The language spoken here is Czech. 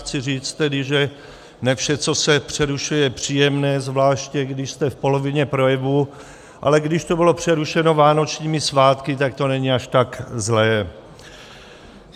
Chci říct tedy, že ne vše, co se přerušuje, je příjemné, zvláště když jste v polovině projevu, ale když to bylo přerušeno vánočními svátky, tak to není až tak zlé.